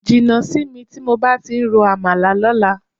Jìnnà sí mi tí mo bá ti ń rọ àmàlà lọ́la.